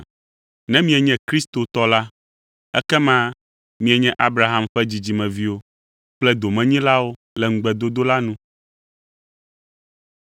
Ne mienye Kristo tɔ la, ekema mienye Abraham ƒe dzidzimeviwo kple domenyilawo le ŋugbedodo la nu.